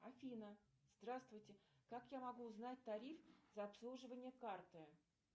афина здравствуйте как я могу узнать тариф за обслуживание карты